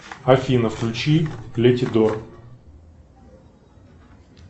афина включи клети дор